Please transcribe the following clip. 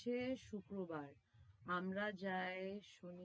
সে শুক্রবার, আমরা যাই শনি~